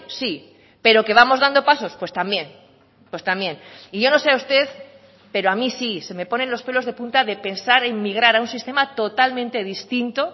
sí pero que vamos dando pasos pues también pues también y yo no sé a usted pero a mí sí se me ponen los pelos de punta de pensar en migrar a un sistema totalmente distinto